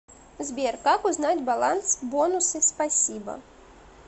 сбер как узнать баланс бонусы спасибо